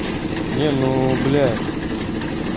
не ну бля